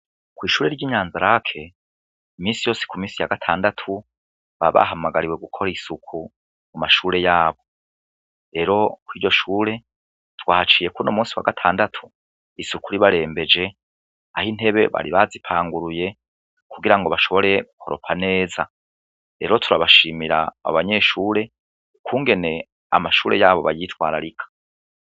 Kw'ishure ry'inyanza rake imisi yosi ku misi ya gatandatu babahamagariwe gukora isuku mu mashure yabo rero ko iryo shure twahaciyekuno musi wa gatandatu isuku ribarembeje aho intebe bari bazipanguruye kugira ngo bashobore gukoropa neza rero urabae shimira abanyeshure ukungene amashure yabo bayitwararika.